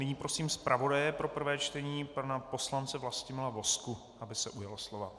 Nyní prosím zpravodaje pro prvé čtení pana poslance Vlastimila Vozku, aby se ujal slova.